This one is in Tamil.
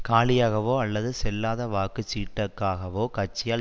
காலியாகவோ அல்லது செல்லாத வாக்கு சீட்டுக்காகவோ கட்சியால்